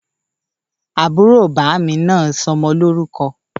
Àbúrò bàmí nà sọ ọmọ lórùkọ